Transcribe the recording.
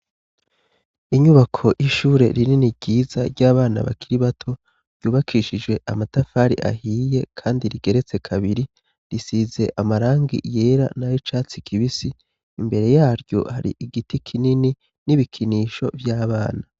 Inyubako y'ishure rinini ryiza ry'abana bakiri bato ryubakishijwe amatafari ahiye, kandi rigeretse kabiri risize amarangi yera na yo icatsi kibisi imbere yaryo hari igiti kinini n'ibikinisho vy'abana.